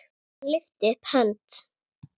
Hann lyfti upp hönd.